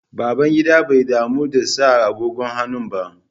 Babangida bai damu da sa agogon hannu ba.